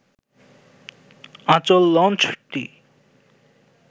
আঁচল লঞ্চটি